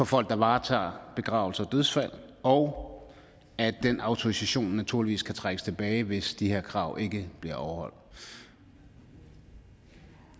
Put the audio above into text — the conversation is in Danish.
folk som varetager begravelser og dødsfald og at den autorisation naturligvis kan trækkes tilbage hvis de her krav ikke bliver overholdt det